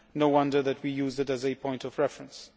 No wonder that we used it as a point of reference.